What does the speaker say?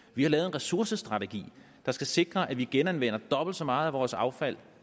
vi har lavet en ressourcestrategi der skal sikre at vi genanvender dobbelt så meget af vores affald